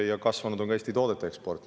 Ja kasvanud on ka Eesti toodete eksport.